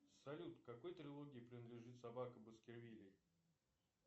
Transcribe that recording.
салют к какой трилогии принадлежит собака баскервилей